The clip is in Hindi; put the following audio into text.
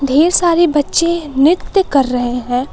ढेर सारे बच्चे नृत्य कर रहे हैं।